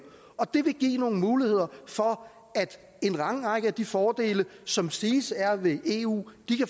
det vil give nogle muligheder for at en lang række af de fordele som siges at være ved eu